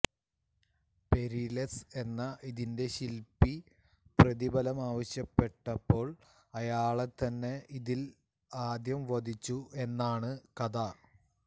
Perillus എന്ന ഇതിന്റെ ശിൽപ്പി പ്രതിഭലമാവശ്യപ്പെട്ടപ്പോൾ അയാളെത്തന്നെ ഇതിൽ ആദ്യം വധിച്ചു എന്നാണ് കഥ